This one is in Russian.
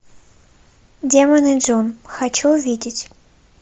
демоны джун хочу увидеть